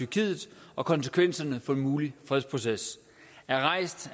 i tyrkiet og konsekvenserne for en mulig fredsproces er rejst